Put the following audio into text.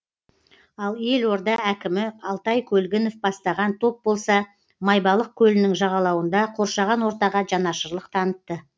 ал елорда әкімі алтай көлгінов бастаған топ болса майбалық көлінің жағалауында қоршаған ортаға жанашырлық танытты